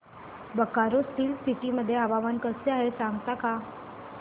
Bokaro steel city मध्ये हवामान कसे आहे सांगता का